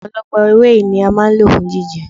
Ọ̀pọ̀lọpọ̀ ewé yìí ni a máa ń lò fún jíjẹ.